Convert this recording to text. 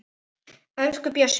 Elsku Bjössi minn